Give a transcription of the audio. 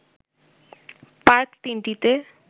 park ৩টিতে